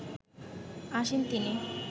আসেন তিনি